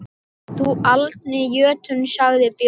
Þú aldni jötunn, sagði Björn.